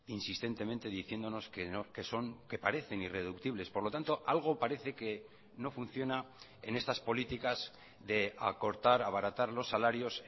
insistentemente diciéndonos que son que parecen irreductibles por lo tanto algo parece que no funciona en estas políticas de acortar abaratar los salarios